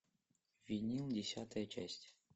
винил десятая часть